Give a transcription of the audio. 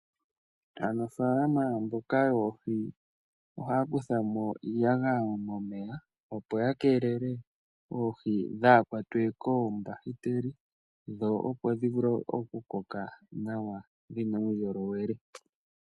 Aanafaalama mboka yoohi ohaya kutha mo iiyagaya momeya, opo ya keelele oohi dhaa kwatwe koombahiteli dho opo dhi vule okukoka nawa dhi na uundjolowele.